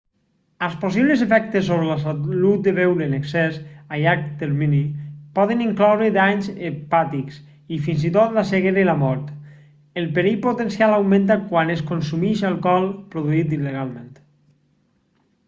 els possibles efectes sobre la salut de beure en excés a llarg termini poden incloure danys hepàtics i fins i tot la ceguera i la mort el perill potencial augmenta quan es consumeix alcohol produït il·legalment